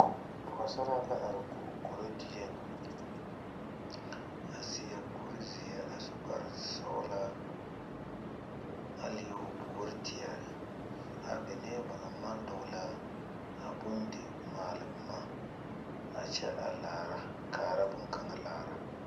Pͻgesaara la are o koro dieŋ. A seԑ kuri zeԑ a su kpare sͻgelaa a leԑ o puori teԑ a benee ba naŋ maŋ dͻgele a bondimaale boma a kyԑ are laara, a kaara boŋkaŋa laara.